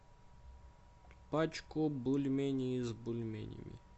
пачку бульменей с бульменями